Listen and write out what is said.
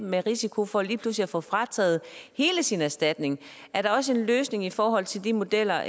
med risiko for lige pludselig at få frataget hele sin erstatning er der også en løsning i forhold til de modeller